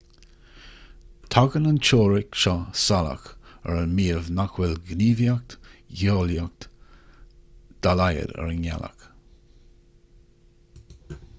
tagann an teoiric seo salach ar an maíomh nach bhfuil gníomhaíocht gheolaíoch dá laghad ar an ngealach